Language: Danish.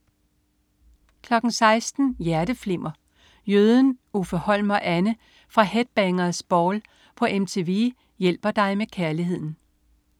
16.00 Hjerteflimmer. Jøden, Uffe Holm og Anne fra "Headbangers Ball" på MTV hjælper dig med kærligheden